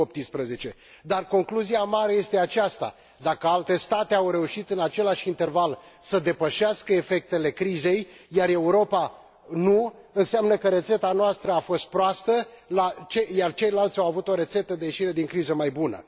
2018. Dar concluzia mare este aceasta dacă alte state au reușit în același interval să depășească efectele crizei, iar Europa nu, înseamnă că rețeta noastră a fost proastă, iar ceilalți au avut o rețetă de ieșire din criză mai bună.